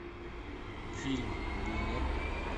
фильм бумер